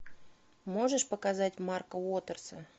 можешь показать марка уотерса